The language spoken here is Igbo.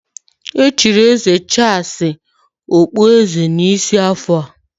Echiri eze Charles ugbu a okpueze n'isi afọ a.